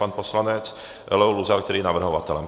Pan poslanec Leo Luzar, který je navrhovatelem.